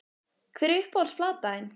Hver er uppáhalds platan þín?